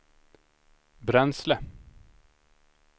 bränsle